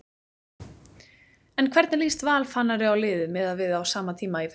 En hvernig líst Val Fannari á liðið miðað við á sama tíma í fyrra?